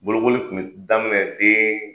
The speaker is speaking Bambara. Bolokoli Kun bE daminɛ den